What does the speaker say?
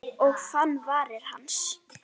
Og fann varir hans.